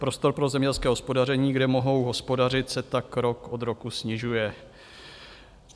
Prostor pro zemědělské hospodaření, kde mohou hospodařit, se tak rok od roku snižuje.